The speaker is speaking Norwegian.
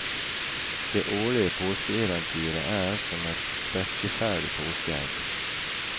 Det årlige påskeeventyret er som et sprekkeferdig påskeegg.